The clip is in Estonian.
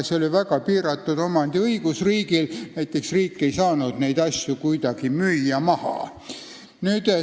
See riigi omandiõigus oli väga piiratud, näiteks ei saanud riik neid asju maha müüa.